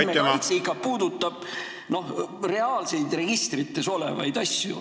Andmekaitse puudutab ikka reaalseid registrites olevaid asju.